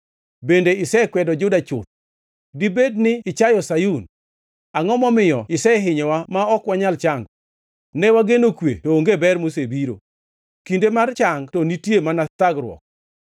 Bende isekwedo Juda chuth? Dibed ni ichayo Sayun? Angʼo momiyo isehinyowa ma ok wanyal chango? Ne wageno kwe to onge ber mosebiro, kinde mar chang to nitie mana thagruok.